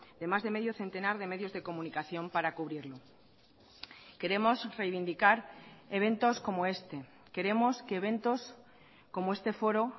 de más de medio centenar de medios de comunicación para cubrirlo queremos reivindicar eventos como este queremos que eventos como este foro